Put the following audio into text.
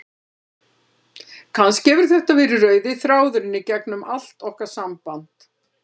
Kannski hefur þetta verið rauði þráðurinn í gegnum allt okkar samband.